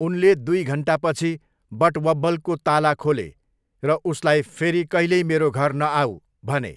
उनले दुई घन्टापछि बटवब्बलको ताला खोले र उसलाई 'फेरि कहिल्यै मेरो घर नआऊ' भने।